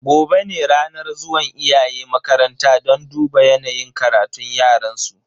Gobe ne ranar zuwan iyaye makaranta don duba yanayin karatun yaransu.